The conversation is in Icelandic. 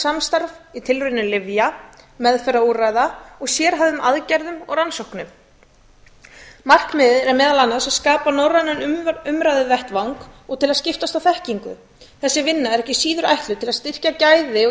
samstarf í tilraunum lyfja meðferðarúrræða og sérhæfðum aðgerðum og rannsóknum markmiðið er meðal annars að skapa norrænan umræðuvettvang og skiptast á þekkingu þessi vinna er ekki síður ætluð til að styrkja gæði og